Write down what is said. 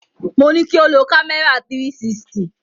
Mo ní kí o lo kámẹ́rà 360.